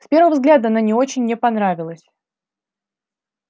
с первого взгляда она не очень мне понравилась